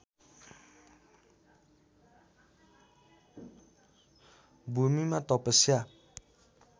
भूमिमा तपस्या